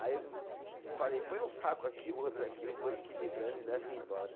Aí eu falei, põe um saco aqui, o outro aqui, eu vou equilibrando e levo embora.